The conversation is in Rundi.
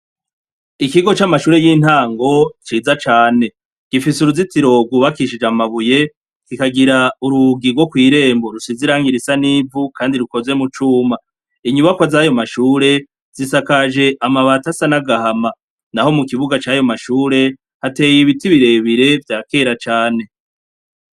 Ikigo c'amashure y'intango ciza cane. Gifise uruzitiro rwubakishije amabuye, kikagira urugi rwo kw'irembo rusize irangi risa n'ivu kandi rukozwe mu cuma. Inyubakwa z'ayo mashure, zisakaje amabati asa n'agahama. Na ho mu kibuga c'ayo mashure, hateye ibiti birebire vya kera cane.